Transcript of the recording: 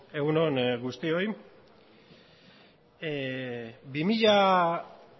egun on guztioi bi mila